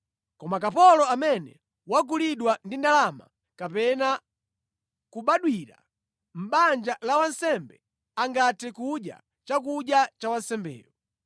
Koma kapolo amene wagulidwa ndi ndalama kapena kubadwira mʼbanja la wansembe angathe kudya chakudya cha wansembeyo.